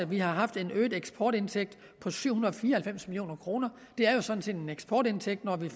vi har haft en øget eksportindtægt på syv hundrede og fire og halvfems million kroner det er jo sådan set en eksportindtægt når vi